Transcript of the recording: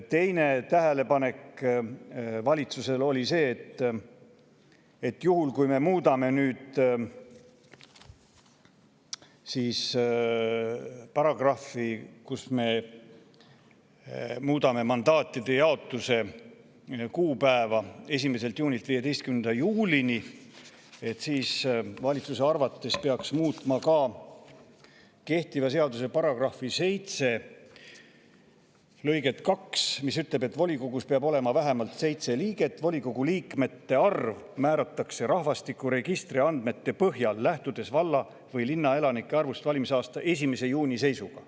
Teine tähelepanek valitsusel oli see, et kui me muudame mandaatide jaotuse kuupäeva nii, et 1. juuni asemel oleks 15. juuli, siis peaks valitsuse arvates muutma ka kehtiva seaduse § 7 lõiget 2, mis ütleb, et volikogus peab olema vähemalt seitse liiget ja volikogu liikmete arv määratakse rahvastikuregistri andmete põhjal, lähtudes valla‑ või linnaelanike arvust valimisaasta 1. juuni seisuga.